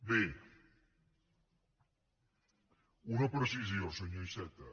bé una precisió senyor iceta